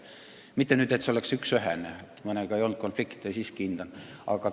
Samas pole see päris ühene – mõnega ei olnud konflikte ja ma siiski hindan neid.